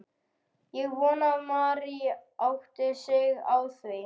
Ég vona að Mary átti sig á því.